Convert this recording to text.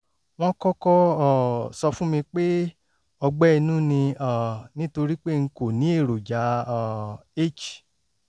wọ́n kọ́kọ́ um sọ fún mi pé ọgbẹ́ inú ni um nítorí pé n kò ní èròjà um h